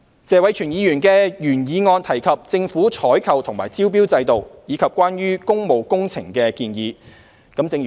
謝偉銓議員的原議案提及政府採購和招標制度，以及關於工務工程的建議。